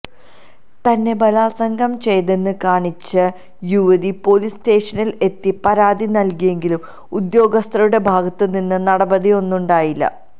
തന്നെ ബലാത്സംഗം ചെയ്തെന്ന് കാണിച്ച് യുവതി പൊലീസ് സ്റ്റേഷനിൽ എത്തി പരാതി നൽതിയെങ്കിലും ഉദ്യോഗസ്ഥരുടെ ഭാഗത്ത് നിന്ന് നടപടിയൊന്നുമുണ്ടായില്ല